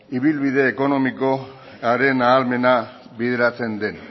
ibilbide ekonomikoaren ahalmena bideratzen den